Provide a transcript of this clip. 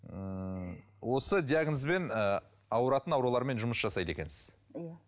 ммм осы диагнозбен ыыы ауыратын аурулармен жұмыс жасайды екенсіз иә